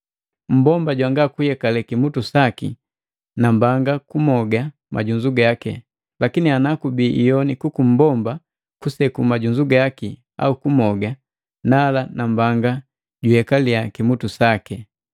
Mmbomba jwanga kuyekale kimutu saki, nambanga kumoga majunzu gaki. Lakini ana kubii iyoni kuku mmbomba kuseku majunzu gaki au kumoga, nala nambanga juyekalia kimutu sake.